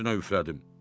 Üstünə üflədim.